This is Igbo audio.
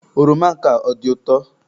Oroma nke a ọ dị ụtọ?